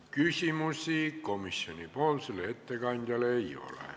Küsimusi komisjoni ettekandjale ei ole.